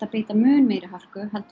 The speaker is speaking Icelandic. beita mun meiri hörku en